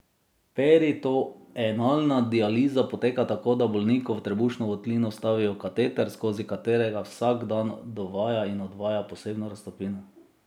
Peritoenalna dializa poteka tako, da bolniku v trebušno votlino vstavijo kateter, skozi katerega vsak dan dovaja in odvaja posebno raztopino.